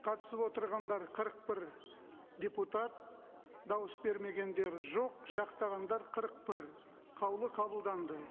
қатысып отырғандар қырық бір депутат дауыс бермегендер жоқ жақтағандар қырық бір қаулы қабылданды